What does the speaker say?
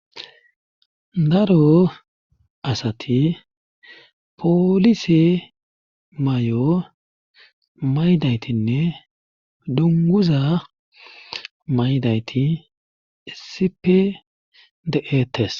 daro asati polise may7o maydaytinne dunguza maydayti sipe de eetes